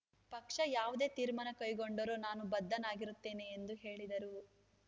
ಪಕ್ಷ ಯಾವುದೇ ತೀರ್ಮಾನ ಕೈಗೊಂಡರೂ ನಾನು ಬದ್ಧನಾಗಿರುತ್ತೇನೆ ಎಂದು ಹೇಳಿದರು